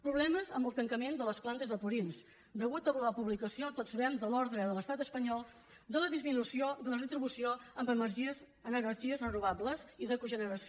problemes amb el tancament de les plantes de purins a causa de la publicació tots ho sabem de l’ordre de l’estat espanyol de disminució de la retribució en energies renovables i de cogeneració